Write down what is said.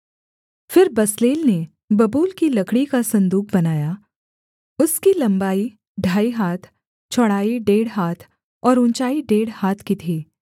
फिर बसलेल ने बबूल की लकड़ी का सन्दूक बनाया उसकी लम्बाई ढाई हाथ चौड़ाई डेढ़ हाथ और ऊँचाई डेढ़ हाथ की थी